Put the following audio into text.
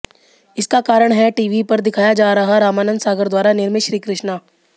इसका कारण है टीवी पर दिखाया जा रहा रामानंद सागर द्वारा निर्मित श्री कृष्णा